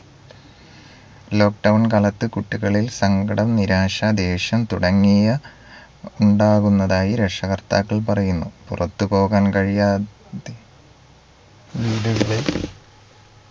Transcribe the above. lockdown കാലത്ത് കുട്ടികളിൽ സങ്കടം നിരാശ ദേഷ്യം തുടങ്ങിയ ഉണ്ടാകുന്നതായി രക്ഷകർത്താക്കൾ പറയുന്നു പുറത്തു പോവ്വാൻ കഴിയാതെ വീടുകളിൽ